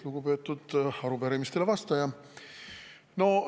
Lugupeetud arupärimisele vastaja!